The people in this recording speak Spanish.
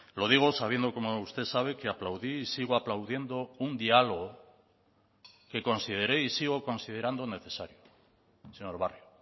lo digo sabiendo como usted sabe que aplaudí y sigo aplaudiendo un diálogo que consideré y sigo considerando necesario señor barrio